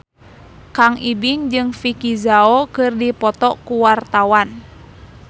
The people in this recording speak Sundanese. Kang Ibing jeung Vicki Zao keur dipoto ku wartawan